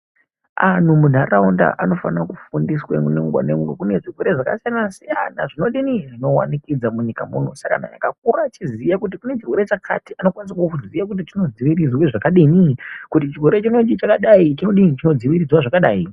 Anhu munharaunda anofanira kufundiswa munungo nyangwe kune zvirwere zvakasiyana siyana zvinodini zvinowanikidza munyika muno. Saka anhu ngaakure achiziya kuti kune chirwere chakati anokwanisa kuziya kuti chinodziirirwa zvakadini, kuti chirwere chinechi chakadai chinodziirirwa zvakadai.